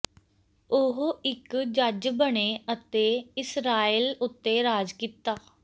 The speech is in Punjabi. ਉਹ ਇੱਕ ਜੱਜ ਬਣੇ ਅਤੇ ਇਸਰਾਇਲ ਉੱਤੇ ਰਾਜ ਕੀਤਾ